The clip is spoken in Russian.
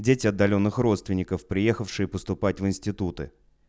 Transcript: дети отдалённых родственников приехавшие поступать в институты